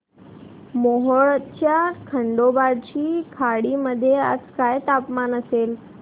मोहोळच्या खंडोबाची वाडी मध्ये आज काय तापमान असेल